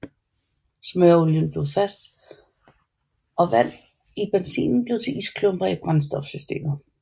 Smøreolien blev fast og vand i benzinen blev til isklumper i brændstofsystemet